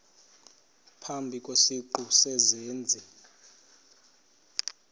phambi kwesiqu sezenzi